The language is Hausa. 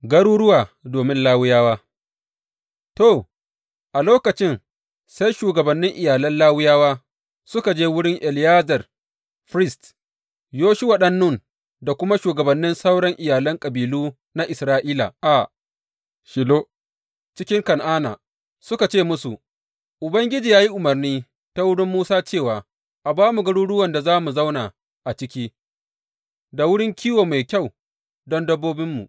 Garuruwa domin Lawiyawa To, a lokacin, sai shugabannin iyalan Lawiyawa suka je wurin Eleyazar firist, Yoshuwa ɗan Nun da kuma shugabannin sauran iyalan kabilu na Isra’ila a Shilo cikin Kan’ana, suka ce musu, Ubangiji ya yi umarni ta wurin Musa cewa a ba mu garuruwan da za mu zauna a ciki, da wurin kiwo mai kyau don dabbobinmu.